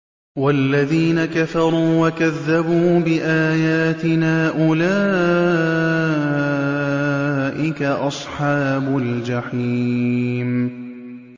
وَالَّذِينَ كَفَرُوا وَكَذَّبُوا بِآيَاتِنَا أُولَٰئِكَ أَصْحَابُ الْجَحِيمِ